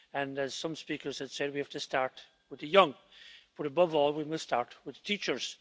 As some speakers have said, we have to start with the young, but above all we must start with teachers.